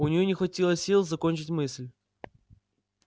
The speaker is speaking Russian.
у нее не хватило сил закончить мысль